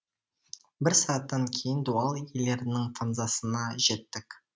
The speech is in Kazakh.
бір сағаттан кейін дуал иелерінің фанзасына жеттік